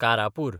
Karapur